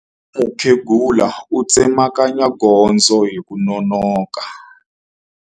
Mukhegula u tsemakanya gondzo hi ku nonoka.